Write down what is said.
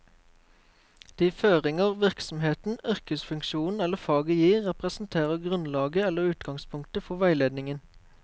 De føringer virksomheten, yrkesfunksjonen eller faget gir, representerer grunnlag eller utgangspunkt for veiledningen.